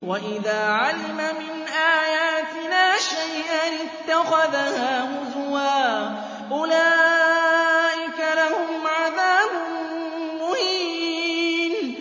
وَإِذَا عَلِمَ مِنْ آيَاتِنَا شَيْئًا اتَّخَذَهَا هُزُوًا ۚ أُولَٰئِكَ لَهُمْ عَذَابٌ مُّهِينٌ